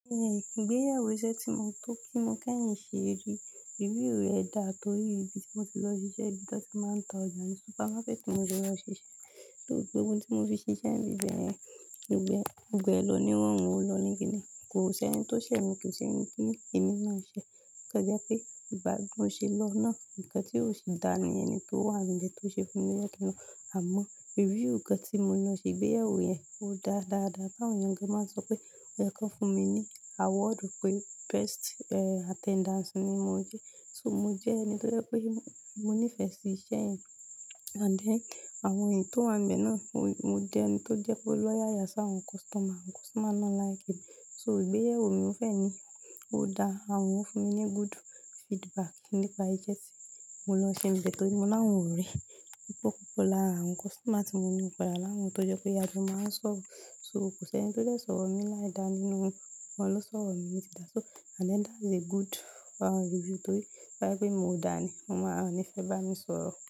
Eh, ìgbéyàwó iṣẹ́ tí mo tọ́ pé mi ká ń ṣe, review rẹ̀ dá torí ibi tí mo ti lọ ṣiṣẹ́, ibi tí wọ́n ti máa ń ta ọjà ní supermarket tí mo ti lọ ṣiṣẹ́. Torí gbogbo oun tí mo fi ṣiṣẹ́ ni ibẹyẹn, gbogbo ẹ lọ ní irọrùn ó lọ níki ni. Kò sí ẹni tó ṣẹ̀ mi, kò sí ẹni pé èmi náa ṣẹ. O kan jẹ́ pé ìgba bi mo ṣe lọ náà, ǹkan tí ó sì dá ni ẹni tó wà níbẹ tí ó ṣe fún mi lẹ́ kan náa. Àmọ́ review kan tí mo lọ ṣe ìgbéyàwó yẹn, ó dáa dáadáa. Tá won èèyan gan máa ń sọ pé o yẹ kan fún mi ní award pé best eh attendance ni mo jẹ́. So mo jẹ́ ẹni tó jẹ́ pé mo nífẹ̀ẹ́ sí iṣẹ́ yẹn and then àwọn èyí tó wà níbẹ̀ náà, wọn jẹ́ ẹni tó jẹ́ pé ó lọ́yàyà sá àwọn customer. Àwọn customer náà like mi. So ìgbéyàwó mi ò fẹ́ ni, ó dáa. Àwọn ń fún mi ní good feedback nípa ìṣẹ́ tí mo lọ ṣe n bẹ, torí mo láwọn ọré. Pupọ púpọ̀ lára àwọn customer tí mo ní pẹlu awọn tó jẹ́ pé ajọ máa ń sọ̀rọ̀. So kò sí ẹni tó lè sọ̀rọ̀ mi láì dáa nínú wọn. Wọn ló sọ̀rọ̀ mi ní ti dáa. So and then that's a good ah review torí bá ẹ pe mio dà ní, mo máa ọ ní fẹ́ bá mi sọ̀rọ̀.